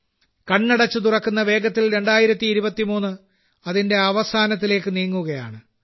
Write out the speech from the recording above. കണ്ണടച്ച് തുറക്കുന്നത്ര വേഗത്തിൽ 2023 അതിന്റെ അവസാനത്തിലേക്ക് നീങ്ങുകയാണ്